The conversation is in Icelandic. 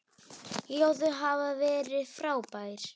Já, þau hafa verið frábær.